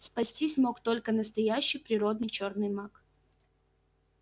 спастись мог только настоящий природный чёрный маг